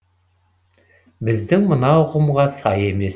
біздің мына ұғымға сай емес